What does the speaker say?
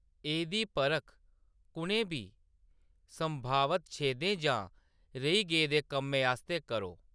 एह्‌‌‌दी परख कु'नें बी संभावत छेदें जां रेही गेदे कम्में आस्तै करो।